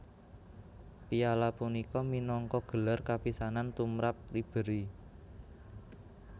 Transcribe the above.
Piala punika minangka gelar kapisanan tumrap Ribéry